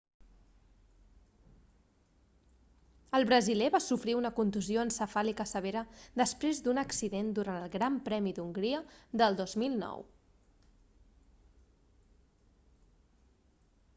el brasiler va sofrir una contusió encefàlica severa després d'un accident durant el gran premi d'hongria del 2009